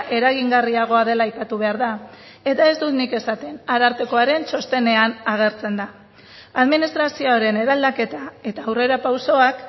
eragingarriagoa dela aipatu behar da eta ez dut nik esaten arartekoaren txostenean agertzen da administrazioaren eraldaketa eta aurrerapausoak